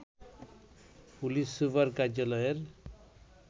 police super কার্যালয়ের